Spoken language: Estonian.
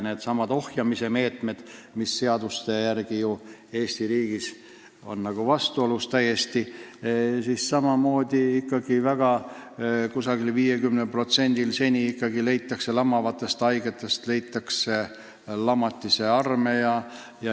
Needsamad ohjeldamise meetmed on Eesti riigis seadustega justkui vastuolus, aga ikkagi leitakse umbes pooltel lamavatest haigetest lamatiste arme.